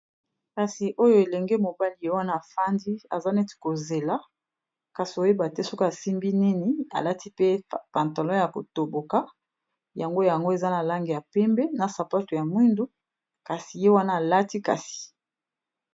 kasi oyo elenge mobali ,ye wana afandi aza neti kozela kasi koyeba te soki asimbi nini alati pe pantalon ya kotoboka, yango eza na langi ya pembe na sapato ya mwindu ye wana .